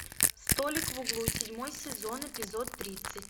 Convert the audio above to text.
столик в углу седьмой сезон эпизод тридцать